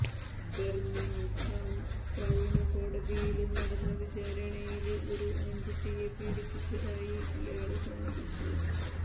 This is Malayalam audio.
ബര്മിംഗ്ഹാം ക്രൌണ് കോടതിയില് നടന്ന വിചാരണയില് ഒരു ആണ്കുട്ടിയെ പീഡിപ്പിച്ചതായി ഇയാള് സമ്മതിച്ചു